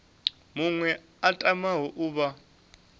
muṅwe a tamaho u vha